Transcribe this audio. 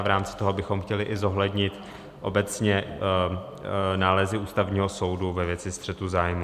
A v rámci toho bychom chtěli i zohlednit obecně nálezy Ústavního soudu ve věci střetu zájmů.